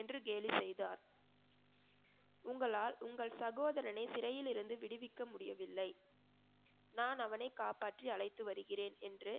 என்று கேலி செய்தார் உங்களால் உங்கள் சகோதரனை சிறையில் இருந்து விடுவிக்க முடியவில்லை நான் அவனை காப்பாற்றி அழைத்து வருகிறேன் என்று